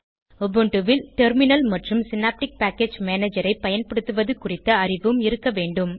Ubuntu வில் terminal மற்றும் synaptic package manager ஐ பயன்படுத்துவது குறித்த அறிவும் இருக்க வேண்டும்